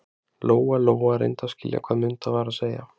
Lóa Lóa reyndi að skilja hvað Munda var að segja.